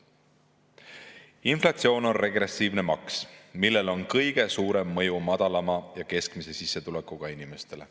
Inflatsioon on regressiivne maks, millel on kõige suurem mõju madalama ja keskmise sissetulekuga inimestele.